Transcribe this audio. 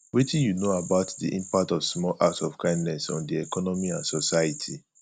wetin you know about di impact of small acts of kindness on di economy and society